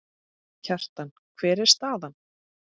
Kjartan, hver er staðan?